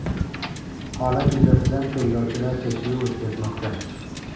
Holat yuzasidan tergovchilar tekshiruv o‘tkazmoqda.